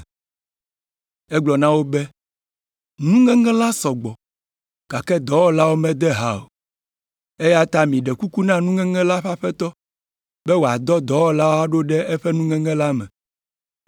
Egblɔ na wo be, “Nuŋeŋe la sɔ gbɔ, gake dɔwɔlawo mede ha o, eya ta miɖe kuku na nuŋeŋe la ƒe Aƒetɔ be wòadɔ dɔwɔlawo aɖo ɖe eƒe nuŋeŋe la me.